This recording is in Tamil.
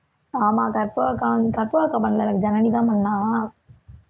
ஆமா கற்பகம் அக்கா வ~ கற்பகம் அக்கா பண்ணலை எனக்கு ஜனனிதான் பண்ணா